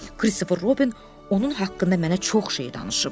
Kristofer Robin onun haqqında mənə çox şey danışıb.